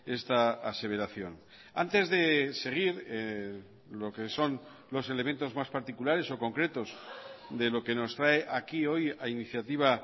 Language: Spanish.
esta aseveración antes de seguir lo que son los elementos más particulares o concretos de lo que nos trae aquí hoy a iniciativa